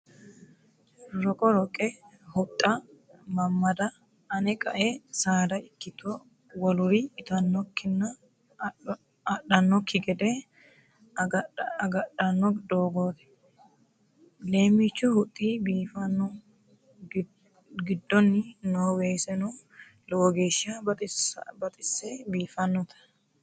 Roqo roqe huxxa madada ane qae saada ikkitto woluri ittanokkinna adhanokki gede agadhano doogoti lemichu huxxi biifanoho, giddoni no weeseno lowo geeshsha baxise biifanote.